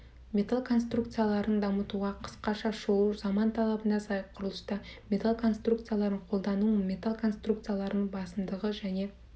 металл конструкцияларын дамытуға қысқаша шолу заман талабына сай құрылыста металл конструкцияларын қолдану металл конструкцияларының басымдығы және